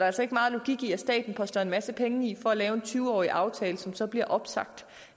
altså ikke meget logik i at staten poster en masse penge i at lave en tyve årig aftale som så bliver opsagt